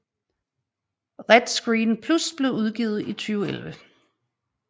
RETScreen Plus blev udgivet i 2011